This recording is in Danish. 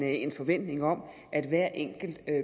en forventning om at hver enkelt